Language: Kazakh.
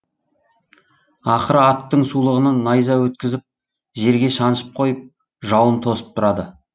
ақыры аттың сулығынан найза өткізіп жерге шаншып қойып жауын тосып тұрады